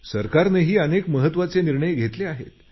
सरकारनेही अनेक महत्त्वाचे निर्णय घेतले आहेत